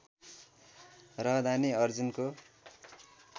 रहँदा नै अर्जुनको